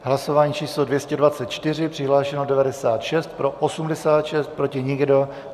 Hlasování číslo 224, přihlášeno 96, pro 86, proti nikdo.